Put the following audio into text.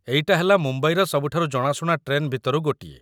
ଏଇଟା ହେଲା ମୁମ୍ବାଇର ସବୁଠାରୁ ଜଣାଶୁଣା ଟ୍ରେନ୍ ଭିତରୁ ଗୋଟିଏ ।